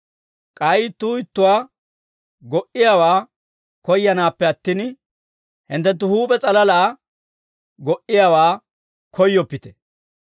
K'ay ittuu ittuwaa go"iyaawaa koyyanaappe attin, hinttenttu huup'e s'alalaa go"iyaawaa koyyoppite.